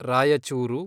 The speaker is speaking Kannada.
ರಾಯಚೂರು